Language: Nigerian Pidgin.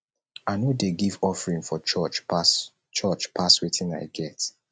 i no dey give offering for church pass church pass wetin i get